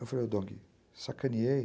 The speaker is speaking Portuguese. Eu falei, Dong, sacaneei.